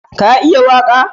Ka iya waƙa?